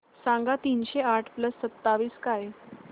सांगा तीनशे आठ प्लस सत्तावीस काय